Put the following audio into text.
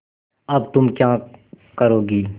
अब तुम क्या करोगी